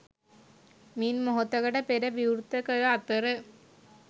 මින් මොහොතකට පෙර විවෘත කර අතර